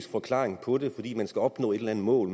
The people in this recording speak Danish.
forklaring på det fordi man skal opnå et eller andet mål